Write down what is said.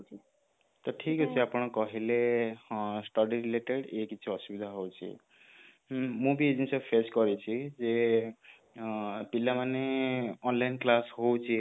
ତ ଠିକ ଅଛି ଆପଣ କହିଲେ ହଁ study related ଏଇ କିଛି ଅସୁବିଧା ହଉଛି ହୁଁ ମୁଁ ବି ଏଇ ଜିନିଷ face କରିଛି ଯେ ପିଲାମାନେ online class ହଉଛି